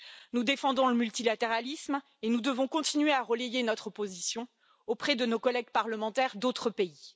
Nous défendons le multilatéralisme et nous devons continuer à relayer notre position auprès de nos collègues parlementaires d'autres pays.